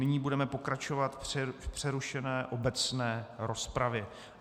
Nyní budeme pokračovat v přerušené obecné rozpravě.